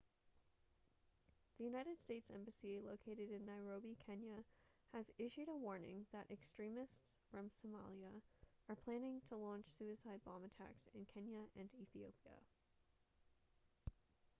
the united states embassy located in nairobi kenya has issued a warning that extremists from somalia are planning to launch suicide bomb attacks in kenya and ethiopia